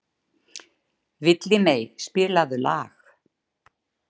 Villimey, spilaðu lag.